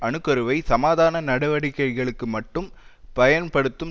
அணுக்கருவை சமாதான நடவடிக்கைகளுக்கு மட்டும் பயன்படுத்தும்